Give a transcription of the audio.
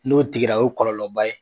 N'o tigira o kɔlɔlɔ ba ye.